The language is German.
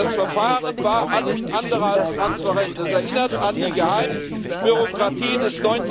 Das Verfahren war alles andere als transparent das erinnert an die Geheimebürokratie des